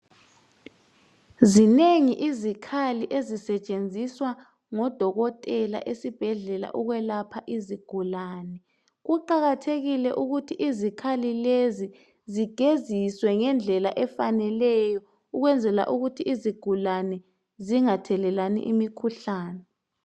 Zinengi izikhali ezisetshenziswa ngodokotela esibhedlela ukwelapha izigulane kuqakathekile ukuthi izikhali lezi zigeziswe ngendlela efaneleyo ukwenzela ukuthi izigulane zingathelelani imikhuhlane